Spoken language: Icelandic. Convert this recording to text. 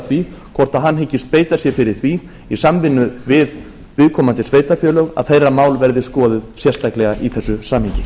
því hvort hann hyggist beita sér fyrir því í samvinnu við viðkomandi sveitarfélög að þeirra mál verði skoðuð sérstaklega í þessu samhengi